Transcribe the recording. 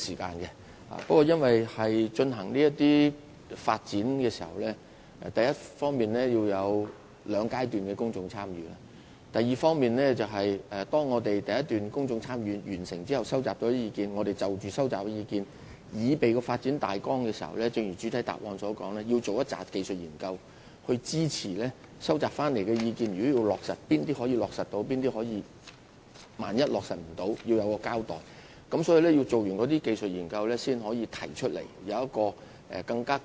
不過，在推行地下空間發展時，我們第一方面必須進行兩個階段的公眾參與；第二方面，完成了第一階段的公眾參與後，在按照收集所得的意見擬備發展大綱時，我們必須一如主體答覆所說，進行大量技術評估來支持所接獲的意見，從而決定哪些建議可以落實，並就不能落實的意見作出交代。